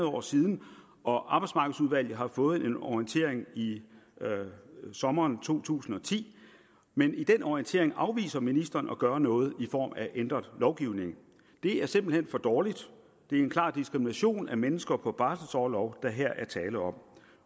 år siden og arbejdsmarkedsudvalget har fået en orientering i sommeren to tusind og ti men i den orientering afviser ministeren at gøre noget i form af ændret lovgivning det er simpelt hen for dårligt det er en klar diskrimination af mennesker på barselorlov der her er tale om